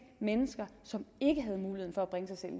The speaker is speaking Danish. mennesker som ikke havde muligheden for